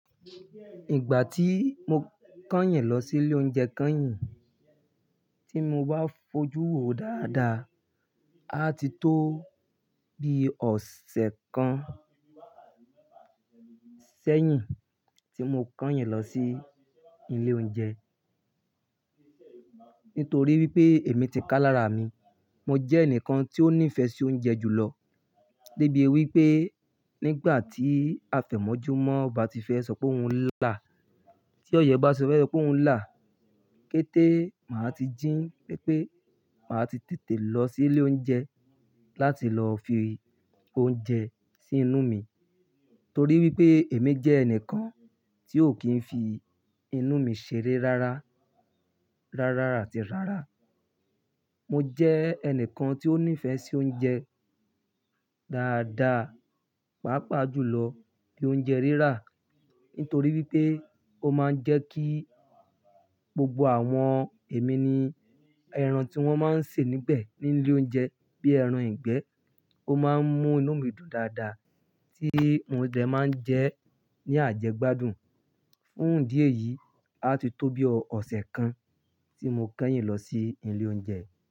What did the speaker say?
Ìgbà tí mo kányìn lọ sí ilé oúnjẹ kányìn, tí mo wá fojú wo dáadáa, a ti tó bi ọ̀sẹ̀ kan sẹ́yìn tí mo kányìn lọ sí ilé oúnjẹ. Nítorí wípé èmi ti ká lára mi, mo jẹ́ ẹnìkan tí ó ní ìfẹ́ sí oúnjẹ jùlọ. Débi wípé nígbà tí àtẹ̀mọ́júmọ́ bá ti fẹ́ sọ pé òun ń là, tí ọ̀yẹ́ bá ti fẹ́ sọ pé ó ń là, kété, màá ti jí wípé màá ti tètè lọ sí ilé oúnjẹ láti lọ fi oúnjẹ sí inú mi. Torí wípé èmi jẹ́ ẹnìkan tí ò kí ń fi inú mi ṣeré rárá, rárá àti rárá. Mo jẹ́ ẹnìkan tí ó ní ìfẹ́ sí oúnjẹ dáadáa, pàápàá jùlọ bí oúnjẹ rírà. Nítorí wípé ó máa ń jẹ́ kí gbogbo àwọn èmi ni ẹran tí wón máa ń sè níbẹ̀ ní ilé oúnjẹ bí ẹran ìgbẹ́, ó máa ń mú inú mi dùn dáadáa tí mo dẹ máa ń jẹ ẹ́ ní àjẹgbádùn. Fún ìdí èyí, a ti tó bi ọ̀sẹ̀ kan tí mo kányìn lọ sí ilé oúnjẹ.